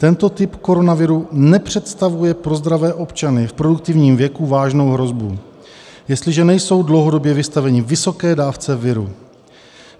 Tento typ koronaviru nepředstavuje pro zdravé občany v produktivním věku vážnou hrozbu, jestliže nejsou dlouhodobě vystaveni vysoké dávce viru.